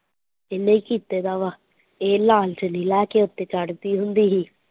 ਇਹਨੇ ਕੀਤਾ ਦਾ ਵਾ ਇਹ ਲਾਲ ਚੁੰਨੀ ਲੈ ਕੇ ਉੱਤੇ ਚੜਦੀ ਹੁੰਦੀ ਸੀ।